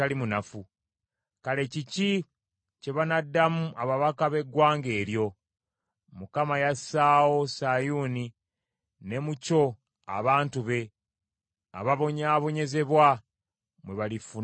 Kale kiki kye banaddamu ababaka b’eggwanga eryo? “ Mukama yassaawo Sayuuni, ne mu kyo abantu be ababonyaabonyezebwa mwe balifuna obuddukiro.”